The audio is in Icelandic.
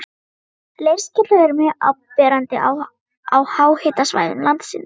Leirskellur eru mjög áberandi á háhitasvæðum landsins.